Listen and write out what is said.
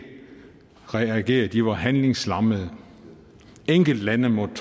reagere for de var handlingslammet enkeltlande måtte